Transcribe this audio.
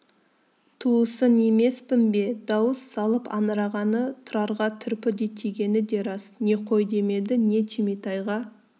туысың емеспін бе дауыс салып аңырағаны тұрарға түрпідей тигені де рас не қой демеді не түйметайға